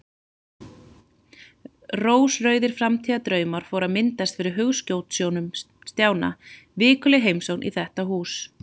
Rósrauðir framtíðardraumar fóru að myndast fyrir hugskotssjónum Stjána: Vikuleg heimsókn í þetta hús.